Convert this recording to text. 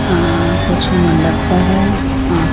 अ कुछ मंडप सा है अ--